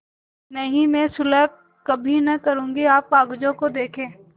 नहीं मैं सुलह कभी न करुँगी आप कागजों को देखें